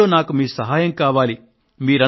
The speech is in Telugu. ఈ పనిలో నాకు మీ సహాయం కావాలి